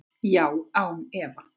Já, án efa.